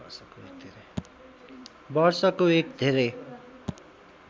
वर्षको एक धेरै